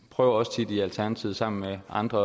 prøver også tit i alternativet sammen med andre